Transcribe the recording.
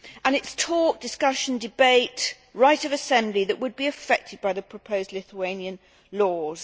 It is talk, discussion, debate, right of assembly that would be affected by the proposed Lithuanian laws.